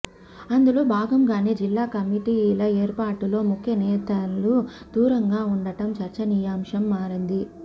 అందులో భాగంగానే జిల్లా కమిటీల ఏర్పాటులో ముఖ్య నేతలు దూరంగా ఉండటం చర్చనీయాశంగా మారింది